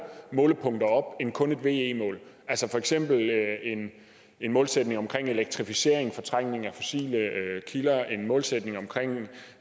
målepunkter op end kun et ve mål altså for eksempel en en målsætning om elektrificering fortrængning af fossile kilder en målsætning om